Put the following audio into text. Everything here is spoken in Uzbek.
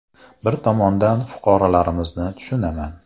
Bir tomondan, fuqarolarimizni tushunaman.